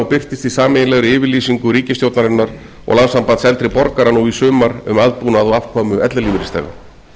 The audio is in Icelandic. birtist í sameiginlegri yfirlýsingu ríkisstjórnarinnar og landssambands eldri borgara nú í sumar um aðbúnað og afkomu ellilífeyrisþega